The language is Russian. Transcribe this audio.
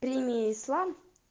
прими ислам